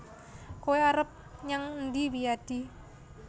Kowe arep nyang endi Wiyadi